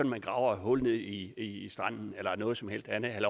man graver et hul i stranden eller noget som helst andet